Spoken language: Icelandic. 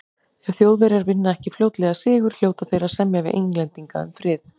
Ef Þjóðverjar vinna ekki fljótlega sigur, hljóta þeir að semja við Englendinga um frið.